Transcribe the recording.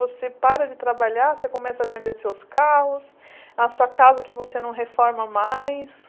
Você para de trabalhar, você começa a vender seus carros, a sua casa que você não reforma mais.